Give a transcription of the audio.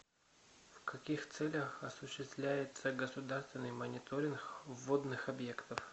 в каких целях осуществляется государственный мониторинг водных объектов